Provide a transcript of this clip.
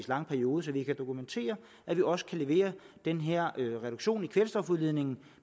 lang periode så vi kan dokumentere at vi også kan levere den her reduktion i kvælstofudledningen